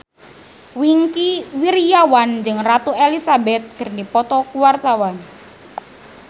Wingky Wiryawan jeung Ratu Elizabeth keur dipoto ku wartawan